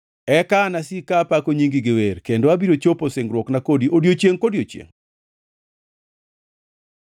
Eka anasik ka apako nyingi gi wer kendo abiro chopo singruokna kodi odiechiengʼ kodiechiengʼ.